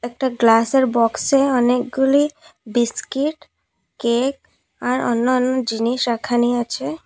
একটা গ্লাস -এর বক্সে অনেকগুলি বিস্কিট কেক আর অন্যান্য জিনিস রাখানি আছে।